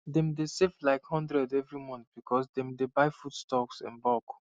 dem dey save like one hundred every month because dem dey buy foodstuff in bulk